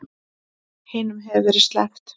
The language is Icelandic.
Hinum hefur verið sleppt